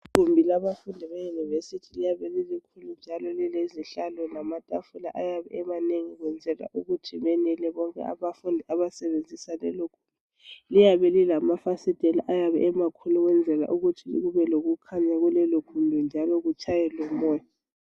Igumbi labafundi abaseyunivesithi liyabe lilikhulu njalo lilezihlalo lilamatafula ayabe emanengi kwenzela ukuthi benele bonke abafundi abasebenzisa lelogumbi. Liyabe lilamafasitela amakhulu kwenzela ukuthi kubelokukhanya kulelogumbi njalo kutshaye lomoya.